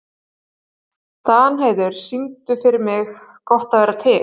Danheiður, syngdu fyrir mig „Gott að vera til“.